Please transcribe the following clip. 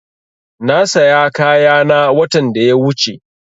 Na saya kayana watan da ya wuche